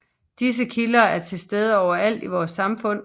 Disse kilder er tilstede overalt i vores samfund